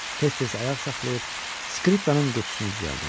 Tez-tez ayaq saxlayıb skripkanın qutusunu düzəltdirdi.